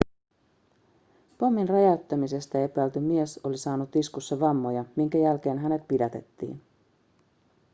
pommin räjäyttämisestä epäilty mies oli saanut iskussa vammoja minkä jälkeen hänet pidätettiin